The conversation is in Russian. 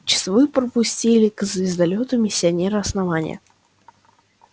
часовые пропустили к звездолёту миссионера основания